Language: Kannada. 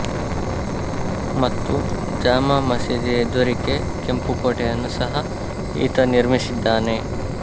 ಮತ್ತು ಜಾಮಾ ಮಸೀದಿ ಎದುರಿಕೆ ಕೆಂಪುಕೋಟೆಯನ್ನು ಸಹ ಈತ ನಿರ್ಮಿಸಿದ್ದಾನೆ